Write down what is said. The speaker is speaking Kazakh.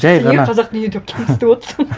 жай ғана неге қазақтың үйі деп кемсітіп отырсың